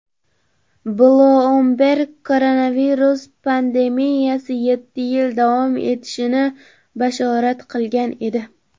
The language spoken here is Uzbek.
"Bloomberg" koronavirus pandemiyasi yetti yil davom etishini bashorat qilgan edi.